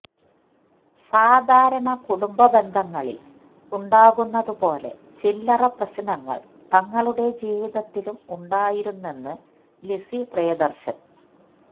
സാധാരണ കുടുംബ ബന്ധങ്ങളില് ഉണ്ടാകുന്നത് പോലെ ചില്ലറ പ്രശ്നങ്ങള് തങ്ങളുടെ ജീവിതത്തിലും ഉണ്ടായിരുന്നെന്ന് ലിസി പ്രിയദര്ശന്